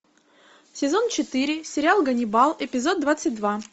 сезон четыре сериал ганнибал эпизод двадцать два